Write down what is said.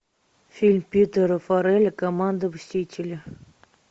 фильм питера фаррелли команда мстители